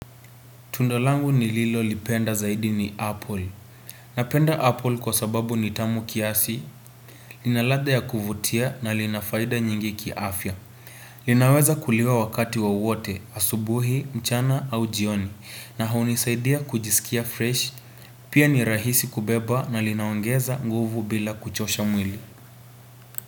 Tunda langu ni Lilo lipenda zaidi ni Apple. Napenda Apple kwa sababu nitamu kiasi, lina ladha ya kuvutia na linafaida nyingi kiafya. Linaweza kuliwa wakati wowote, asubuhi, mchana au jioni, na hunisaidia kujisikia fresh. Pia ni rahisi kubeba na linaongeza nguvu bila kuchosha mwili.